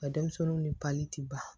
Ka denmisɛnninw ni ban